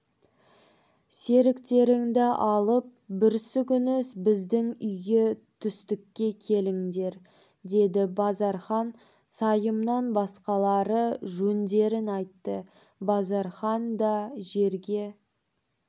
серіктеріңді алып бүрсігүні біздің үйге түстікке келіңдер деді базархан сайымнан басқалары жөндерін айтты базархан да жерге